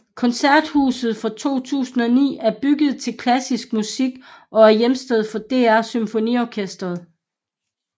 Koncerthuset fra 2009 er bygget til klassisk musik og er hjemsted for DR SymfoniOrkestret